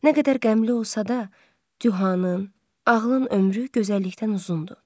Nə qədər qəmli olsa da, cavanın, ağlın ömrü gözəllikdən uzundur.